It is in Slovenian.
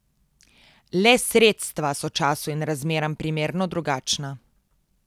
Le sredstva so času in razmeram primerno drugačna.